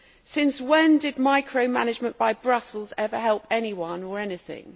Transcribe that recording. Since when did micro management by Brussels ever help anyone or anything?